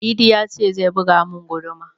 Idi ya ce zai buga mun guduma